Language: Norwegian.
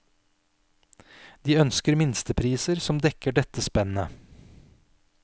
De ønsker minstepriser som dekker dette spennet.